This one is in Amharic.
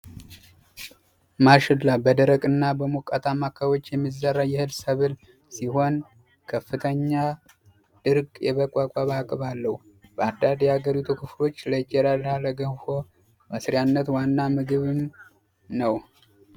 ማሽላ በደረቅና በሞቃታማ አከባቢዎች የሚዘራ የእህል ሰብል ሲሆን ከፍተኛ ድርቅ የመቋቋም አቅም አለው። በአንዳንድ የሀገሪቱ ክፍሎች ለእንጀራና ለገንፎ መስሪያነት ዋና ምግብም ነው።